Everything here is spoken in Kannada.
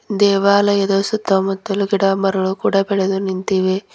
ದೇವಾಲಯದ ಸುತ್ತಮುತ್ತಲೂ ಗಿಡಮರಗಳು ಕೂಡ ಬೆಳೆದುನಿಂತಿವೆ.